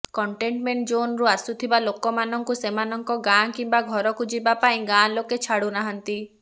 containment ଜୋନରୁ ଆସୁଥିବା ଲୋକମାନଙ୍କୁ ସେମାନଙ୍କ ଗାଁ କିମ୍ବା ଘରକୁ ଯିବା ପାଇଁ ଗାଁ ଲୋକେ ଛାଡ଼ୁନାହାନ୍ତି